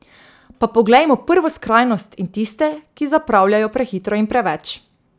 Pa poglejmo prvo skrajnost in tiste, ki zapravljajo prehitro in preveč.